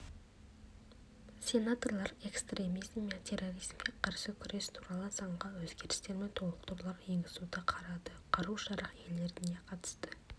сенаторлар экстремизм мен терроризмге қарсы күрес туралы заңға өзгерістер мен толықтырулар енгізуді қарады қару-жарақ иелеріне қатысты